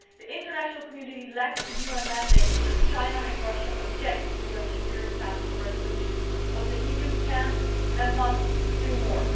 The international community lacks a UN mandate because China and Russia object to a UN Security Council resolution, but the EU can, and must, do more.